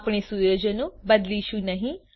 આપણે સુયોજનો બદલીશું નહી